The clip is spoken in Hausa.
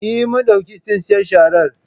Eh, mun ɗauki tsintsiyar sharar